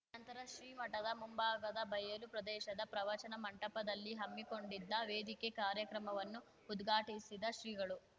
ನಂತರ ಶ್ರೀಮಠದ ಮುಂಭಾಗದ ಬಯಲು ಪ್ರದೇಶದ ಪ್ರವಚನ ಮಂಟಪದಲ್ಲಿ ಹಮ್ಮಿಕೊಂಡಿದ್ದ ವೇದಿಕೆ ಕಾರ್ಯಕ್ರಮವನ್ನು ಉದ್ಘಾಟಿಸಿದ ಶ್ರೀಗಳು